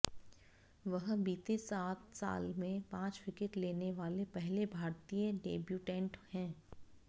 वह बीते सात साल में पांच विकेट लेने वाले पहले भारतीय डेब्यूटेंट हैं